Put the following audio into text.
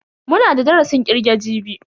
Muna da darasin kirge jibi.